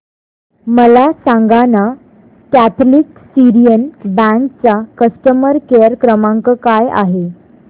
मला सांगाना Catholic Syrian bank चा कस्टमर केअर क्रमांक काय आहे